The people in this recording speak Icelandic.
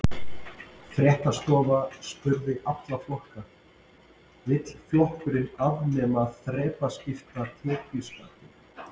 Fréttastofa spurði alla flokka: Vill flokkurinn afnema þrepaskipta tekjuskattinn?